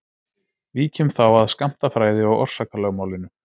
Víkjum þá að skammtafræði og orsakalögmálinu.